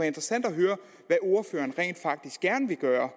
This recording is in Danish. interessant at høre hvad ordføreren rent faktisk gerne vil gøre